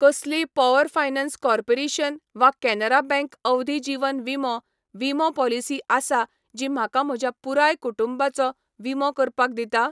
कसली power finance corporation वा Canara bank अवधी जीवन विमो विमो पॉलिसी आसा जी म्हाका म्हज्या पुराय कुटुंबाचो विमो करपाक दिता?